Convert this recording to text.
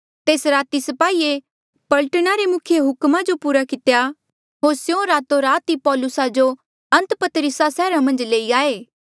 तेस राती स्पाहिये पलटना रे मुखिये हुक्मा जो पूरा कितेया होर स्यों रातो रात ई पौलुसा जो अन्तपतरिसा सैहरा मन्झ लई आये